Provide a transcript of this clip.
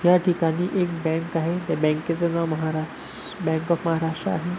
याठिकाणी एक बँक आहे त्या बँके चं नाव महाराष्ट्र बँक ऑफ महाराष्ट्र आहे.